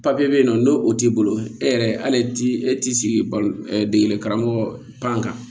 papiye be yen nɔ n'o o t'i bolo e yɛrɛ hali t'i e t'i sigi degeli karamɔgɔ kan